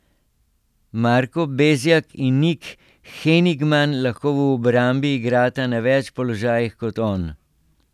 Marko Bezjak in Nik Henigman lahko v obrambi igrata na več položajih kot on.